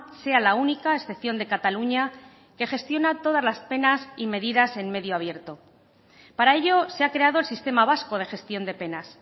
sea la única a excepción de cataluña que gestiona todas las penas y medidas en medio abierto para ello se ha creado el sistema vasco de gestión de penas